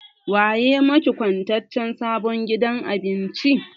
Wa ya maki kwatancen sabon gidan abincin?